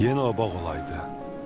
Yenə o bağ olaydı.